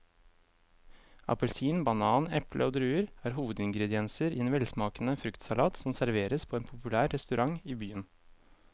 Appelsin, banan, eple og druer er hovedingredienser i en velsmakende fruktsalat som serveres på en populær restaurant i byen.